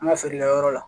An ka feerekɛyɔrɔ la